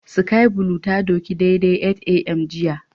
Sky blue ta doki daidai 8am jiya